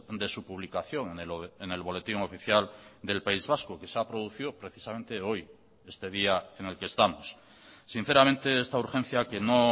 de su publicación en el boletín oficial del país vasco que se ha producido precisamente hoy este día en el que estamos sinceramente esta urgencia que no